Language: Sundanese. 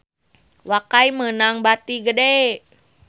Wakai meunang bati gede